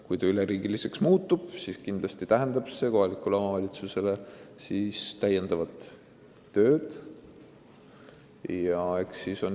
Kui muutuks, siis kindlasti tähendaks see kohalikule omavalitsusele lisatööd.